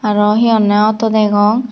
aro hee honne auto degong.